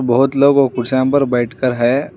बहुत लोग और कुर्सियां पर बैठ के हैं।